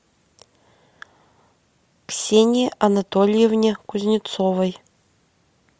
ксении анатольевне кузнецовой